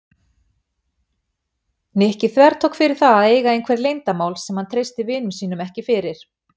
Nikki þvertók fyrir það að eiga einhver leyndarmál sem hann treysti vinum sínum ekki fyrir.